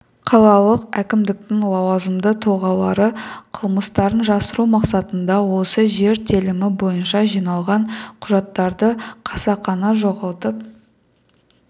қалалық әкімдіктің лауазымды тұлғалары қылмыстарын жасыру мақсатында осы жер телімі бойынша жиналған құжаттарды қасақана жоғалтып